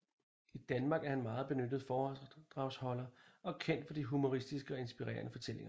I Danmark er han en meget benyttet foredragsholder og er kendt for de humoristiske og inspirerende fortællinger